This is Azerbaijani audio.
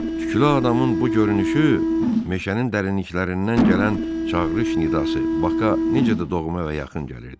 Tüklü adamın bu görünüşü meşənin dərinliklərindən gələn çağırış nidası Baka necə də doğma və yaxın gəlirdi.